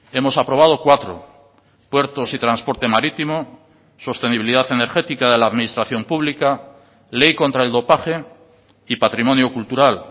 hemos aprobado cuatro puertos y transporte marítimo sostenibilidad energética de la administración pública ley contra el dopaje y patrimonio cultural